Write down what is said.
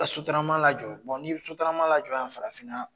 Ka sotarama lajɔ ni sotarama lajɔ yan farafinna